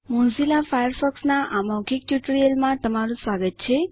Mozilla Firefox ના આ મૌખિક ટ્યુટોરીયલમાં તમારું સ્વાગત છે